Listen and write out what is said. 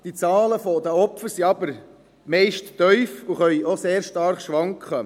Die Zahlen der Opfer sind aber meist tief und können auch sehr stark schwanken.